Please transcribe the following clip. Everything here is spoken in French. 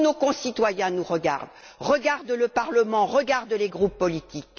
Tous nos concitoyens nous regardent, regardent le Parlement, regardent les groupes politiques.